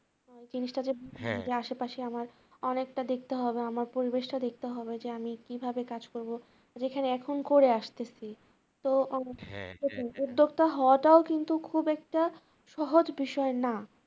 জিনিসটা যে আশেপাশে আমার অনেকটা দেখতে হবে আমার পরিবেশটা দেখতে হবে যে কিভাবে আমি কিভাবে কাজ করব যেটা এখন করে আসতেছি উদ্যোক্তা হওয়াটাও কিন্তু খুব একটা সহজ বিষয় না।